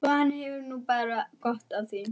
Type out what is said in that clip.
Þetta var umfram allt svekkjandi, sárlega svekkjandi.